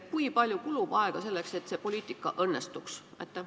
Kui palju kulub aega selleks, et see poliitika õnnestuks?